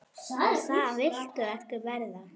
Og það viltu ekki verða.